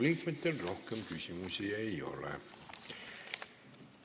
Riigikogu liikmetel rohkem küsimusi ei ole.